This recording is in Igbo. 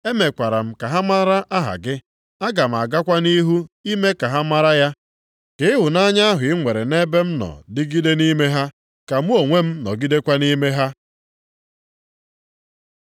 Emekwara m ka ha mara aha gị. Aga m agakwa nʼihu ime ka ha mara ya. Ka ịhụnanya ahụ i nwere nʼebe m nọ dịgide nʼime ha, ka mụ onwe m nọgidekwa nʼime ha.”